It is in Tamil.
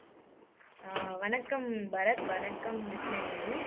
அஹ் வணக்கம் பரத் வணக்கம் கிருஷ்ணவேணி